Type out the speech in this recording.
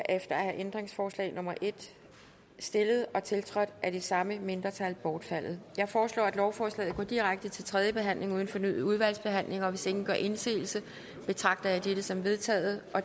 er ændringsforslag nummer en stillet og tiltrådt af det samme mindretal bortfaldet jeg foreslår at lovforslaget går direkte til tredje behandling uden fornyet udvalgsbehandling hvis ingen gør indsigelse betragter jeg dette som vedtaget